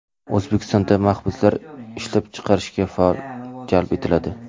O‘zbekistonda mahbuslar ishlab chiqarishga faol jalb etiladi.